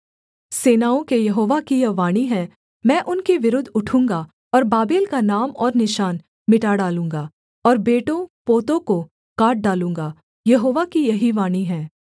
सेनाओं के यहोवा की यह वाणी है मैं उनके विरुद्ध उठूँगा और बाबेल का नाम और निशान मिटा डालूँगा और बेटोंपोतों को काट डालूँगा यहोवा की यही वाणी है